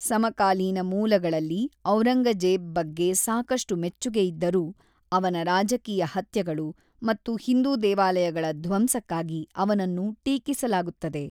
ಸಮಕಾಲೀನ ಮೂಲಗಳಲ್ಲಿ ಔರಂಗಜೇಬ್ ಬಗ್ಗೆ ಸಾಕಷ್ಟು ಮೆಚ್ಚುಗೆಯಿದ್ದರೂ, ಅವನ ರಾಜಕೀಯ ಹತ್ಯಗಳು ಮತ್ತು ಹಿಂದೂ ದೇವಾಲಯಗಳ ಧ್ವಂಸಕ್ಕಾಗಿ ಅವನನ್ನು ಟೀಕಿಸಲಾಗುತ್ತದೆ.